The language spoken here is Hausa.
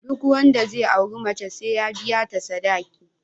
Duk wanda zai auri mace sai ya biya ta sadaki